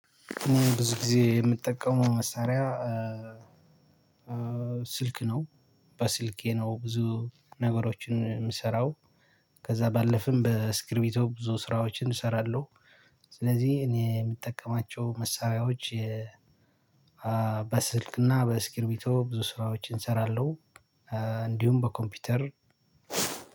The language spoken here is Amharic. ብዙ ጊዜ የምጠቀመው መሳሪያ ስልክ ነው በስልኬ ነው ብዙ ነገሮችን የምሰራው። ከዛ ባለፈም በእስክርቢቶ ብዙ ስራዎችን እሰራለው። ስለዚህ እኔ የምጠቀማቸው መሳሪያዎች በስልክ እና በእስክርቢቶ ስራዎችን እሰራለው። እንዲሁም በኮምፒውተር